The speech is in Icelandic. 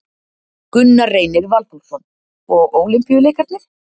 Gunnar Reynir Valþórsson: Og Ólympíuleikarnir?